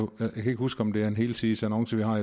kan ikke huske om det er en helsidesannonce vi har